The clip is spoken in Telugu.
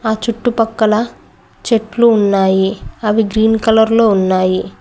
ఆ చుట్టు పక్కల చెట్లు ఉన్నాయి అవి గ్రీన్ కలర్ లో ఉన్నాయి.